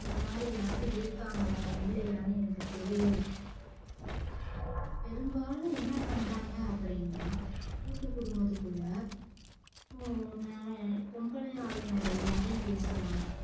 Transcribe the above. இந்த மாதிரி யாரு இருக்காங்களா இல்லையானு எனக்கு தெரியல பெரும்பாலும் என்ன பண்றாங்க அப்டின்னா கூட்டு குடும்பத்துக்குள்ள ஓர் நரை பொம்பளையாலுங்க எல்லாரும் பேசுவாங்க